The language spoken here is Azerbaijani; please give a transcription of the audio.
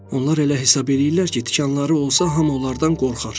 Onlar elə hesab eləyirlər ki, tikanları olsa hamı onlardan qorxar.